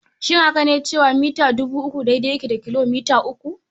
Shin haka ne cewa mita dubu uku daidai yake da kilo mita uku?